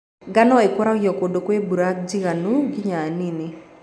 Ngano ĩkũragio kũndũ kwĩ mbura njiganu nginya nini.